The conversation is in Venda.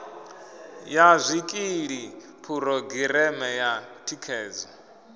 ya zwikili phurogireme ya thikhedzo